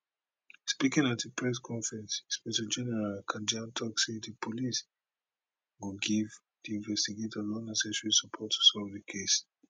speaking at a press conference inspector general kanja tok say di police go give di investigators all necessary support to solve solve di case